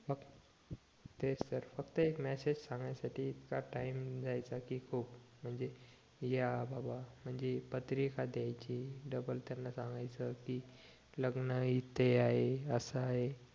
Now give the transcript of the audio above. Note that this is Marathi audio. तेच तर फक्त एक मेसेज सांगाय साठी इतका टाइम जायचा कि खूप म्हणजे या बाबा पत्रिका द्यायची डबल त्यांना सांगयचं लग्न इथे आहे असं आहे